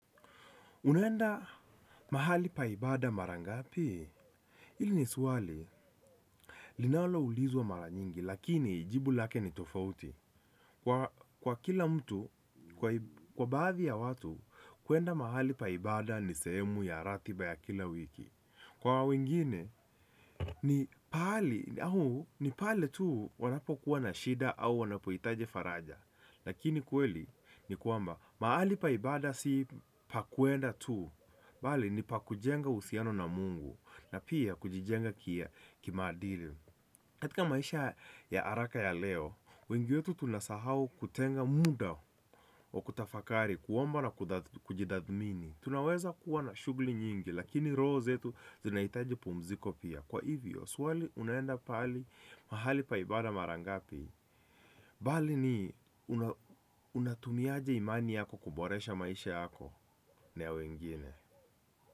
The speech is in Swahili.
Unaenda mahali pa ibada mara ngapi? Hili ni swali, linaloulizwa mara nyingi, lakini jibu lake ni tofauti. Kwa kila mtu, kwa baadhi ya watu, kuenda mahali pa ibada ni sehemu ya ratiba ya kila wiki. Kwa wengine, ni pahali, ni pale tu wanapokuwa na shida au wanapohitaji faraja. Lakini kweli ni kwamba, pahali pa ibada si pa kwenda tu, bali ni pakujenga uhusiano na Mungu na pia kujijenga kimaadili, katika maisha ya haraka ya leo, wengi wetu tunasahau kutenga muda wa kutafakari kuoamba na kujitathmini. Tunaweza kuwa na shughuli nyingi lakini roho zetu zinahitaji kupumzika pia. Kwa hivyo, swali unaenda mahali pa ibada mara ngapi bali ni, unatumia aje imani yako kuboresha maisha yako na ya wengine?